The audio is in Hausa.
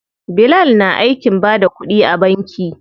Bilal na aikin bada kuɗi a banki.